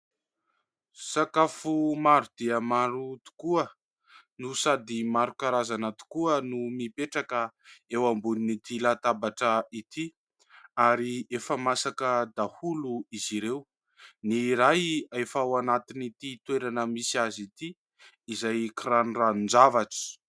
Sakafo maro dia maro tokoa no sady maro karazana tokoa no mipetraka eo ambonin'ity latabatra ity ary efa masaka daholo izy ireo, ny iray efa ao anatin'ity toerana misy azy ity izay kiranoranon-javatra.